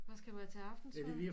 Hvad skal du have til aftensmad